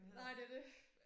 Nej det det